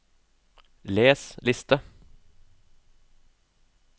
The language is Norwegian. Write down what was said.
les liste